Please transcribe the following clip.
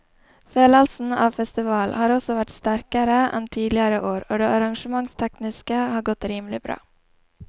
Følelsen av festival har også vært sterkere enn tidligere år og det arrangementstekniske har godt rimelig bra.